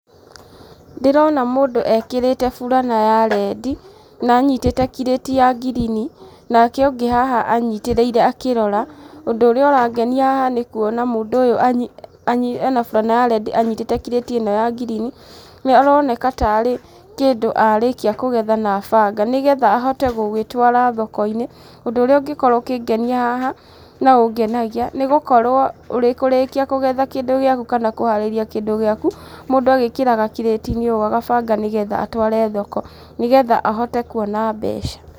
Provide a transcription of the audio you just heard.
Ndĩrona mũndũ ekĩrĩte burana ya rendi, na anyitĩte kirĩti ya ngirini. Nake ũngĩ haha anyitĩrĩire akĩrora. Ũndũ ũrĩa ũrangenia haha nĩ kuona mũndũ ũyũ anyi anyi ena burana ya rendi anyitĩte kirĩti ĩno ya ngirini, nĩ aroneka tarĩ kĩndũ arĩkia kũgetha na abanga, nĩgetha ahote gũgĩtwara thoko-inĩ. Ũndũ ũrĩa ũngĩkorwo ũkĩngenia haha, na ũngenagia, nĩ gũkorwo ũrĩ kũrĩkia kũgetha kĩndũ gĩaku kana kũharĩria kĩndũ gĩaku, mũndũ agĩkĩraga kirati-inĩ ũũ agabanga nĩgetha atware thoko, nĩgetha ahote kuona mbeca.